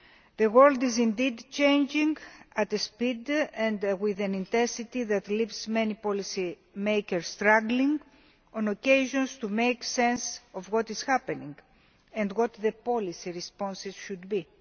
The world is indeed changing at a speed and intensity that leaves many policy makers struggling on occasions to make sense of what it happening and what the policy responses should be.